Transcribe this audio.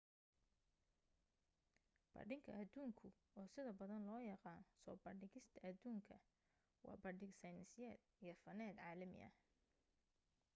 bandhiga adduunku oo sida badan loo yaqaan soo bandhigista aduunka waa bandhig sayniseed iyo faneed caalami ah